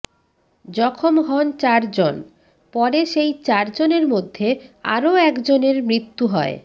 জখম হন চার জন পরে সেই চার জনের মধ্যে আরও একজনের মৃত্যু হয়